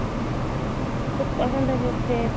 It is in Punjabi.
ਬੱਚਾ ਕਹਿੰਦਾ ਵੀ ਉੱਥੇ